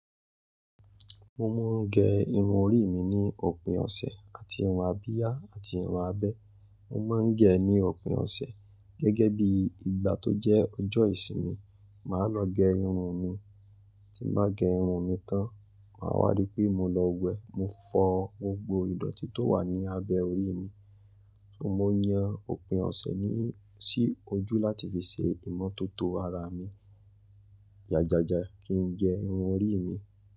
Mo máa ń gẹ irun orí mi ní òpin ọ̀sẹ̀ àti irun abíyá àti irun abẹ́. Mo máa ń gẹ ní òpin ọ̀sẹ̀, gẹ́gẹ́ bí ìgbà tó jẹ́ ọjọ́ ìsinmi, màá lọ gẹ irun mi. Tí bá gẹ irun mi tán, màá wádìí pé mo lọ wẹ, mo fọ gbogbo ìdọ̀tí tó wà ní abẹ orí mi. Mo máa yan òpin ọ̀sẹ̀ sí ojú láti fi ṣe ìmọ́tótó ara mi. Jájájá kí n gẹ irun orí mi.